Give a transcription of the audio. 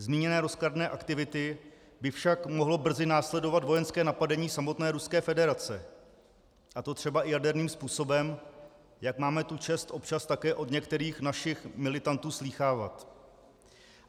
Zmíněné rozkladné aktivity by však mohlo brzy následovat vojenské napadení samotné Ruské federace, a to třeba i jaderným způsobem, jak máme tu čest občas také od některých našich militantů slýchávat.